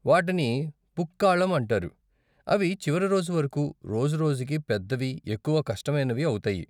వాటిని పుక్కాళం అంటారు, అవి చివరి రోజు వరకు, రోజు రోజుకి పెద్దవి, ఎక్కువ కష్టమైనవి అవుతాయి.